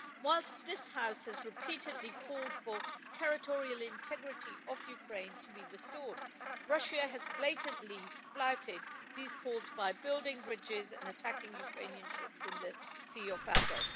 Whilst this House has repeatedly called for the territorial integrity of Ukraine to be restored, Russia has blatantly flouted these calls by building bridges and attacking Ukrainian ships in the Sea of Azov.